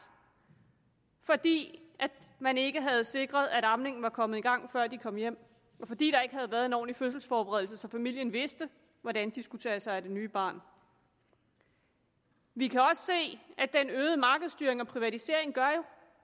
fordi man ikke har sikret at amningen var kommet i gang før de kom hjem og fordi der ikke har været en ordentlig fødselsforberedelse så familien vidste hvordan de skulle tage sig af det nye barn vi kan også se at den øgede markedsstyring og privatisering gør